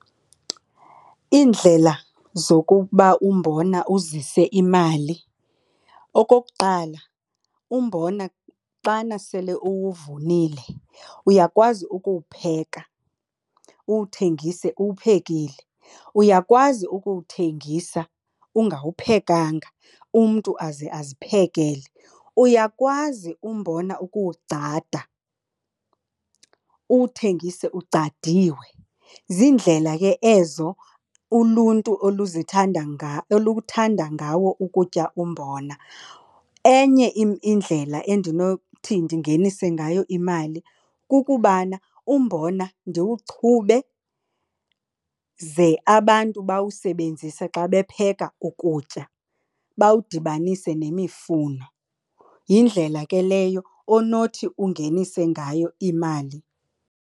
Iindlela zokuba umbona uzise imali. Okokuqala, umbona xana sele uwuvunile uyakwazi ukuwupheka, uwuthengise uwuphekile. Uyakwazi ukuwuthengisa ungawuphekanga, umntu aze aziphekele. Uyakwazi umbona ukuwugcada, uwuthengise ugcadiwe. Ziindlela ke ezo uluntu oluthanda ngawo ukutya umbona. Enye indlela endinothi ndingenise ngayo imali kukubana umbona ndiwuchube ze abantu bawusebenzise xa bepheka ukutya, bawudibanise nemifuno. Yindlela ke leyo onothi ungenise ngayo imali.